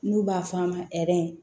N'u b'a fɔ a ma